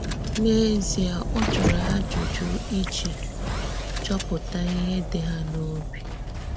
N’èzíè, ò jụrụ́ ajụjụ́ íjì chọ́pụ̀tà íhè dị̀ hà n’òbì.